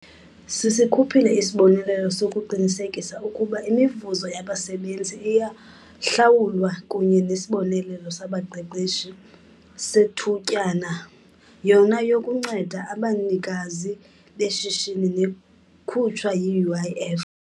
Sisikhuphile isibonelelo sokuqinisekisa ukuba imivuzo yabasebenzi iyahlawulwa kunye neSibonelelo Sabaqeshi Sethutyana, yona yokunceda abanikazi-mashishini, nekhutshwa yi-UIF.